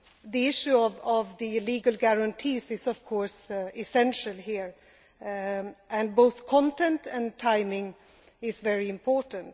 The issue of the legal guarantees is of course essential here, and both content and timing is very important.